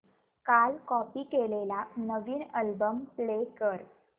काल कॉपी केलेला नवीन अल्बम प्ले कर